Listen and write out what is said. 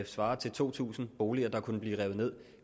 svare til to tusind boliger der kunne blive revet ned